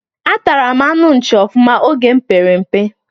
Atara m anụ nchi ofụma oge mụ pere mpe